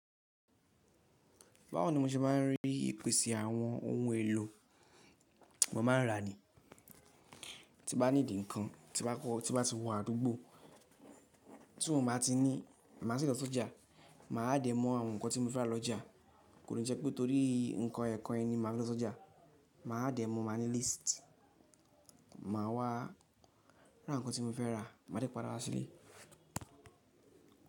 Báwo ni mo se ma n rí ìpèsè àwọn ohun èlò? Mo ma n rà ni. Tí mo bá ní dì ǹkan, tí bá ti wọ́ àdúgbò tí won bá ti ní, má sì lọ sójà, mà á dẹ mọ àwọn nǹkan tí mo fẹ́ rà lọ́jà. Kò ní jẹ́ pé torí nǹkan ẹ́ kan ni máa n lọ sójà, mà á dẹ mọ̀, màá ní list, màá wá ra nǹkan tí mo fẹ́ rà, màá dẹ̀ padà wá sílé.